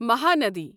Mahanadi